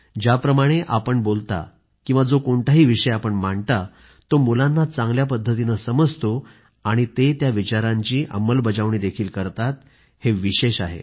ज्याप्रमाणे आपण बोलता किंवा जो कोणताही विषय आपण मांडता तो मुलांना चांगल्या पद्धतीने समजतो आणि ते त्या विचारांची अंमलबजावणीही करतात हे विशेष आहे